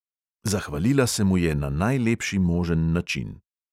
Zahvalila se mu je na najlepši možen način.